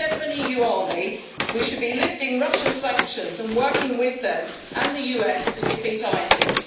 Instead of an EU army we should be lifting Russian sanctions and working with them and the US to defeat ISIS.